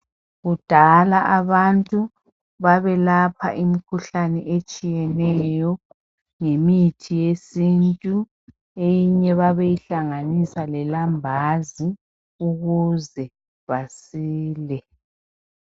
Kudala abantu babelapha imikhuhlane etshiyeneyo ngemithi yesintu eyeinye babeyihlanganisa lelambazi ukuze basile